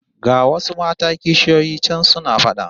Ga wasu mata kishiyoyi can suna fada